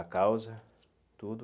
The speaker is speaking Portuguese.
A causa, tudo.